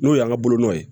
N'o y'an ka bolonɔ ye